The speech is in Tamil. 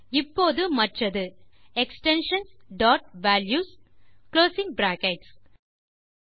இப்போது மற்றது எக்ஸ்டென்ஷன்ஸ் டாட் வால்யூஸ் மற்றும் குளோசிங் பிராக்கெட்ஸ்